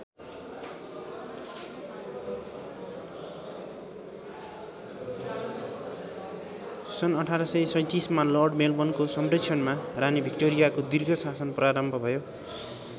सन् १८३७ मा लर्ड मेलबर्नको संरक्षणमा रानी भिक्टोरियाको दीर्घ शासन प्रारम्भ भयो।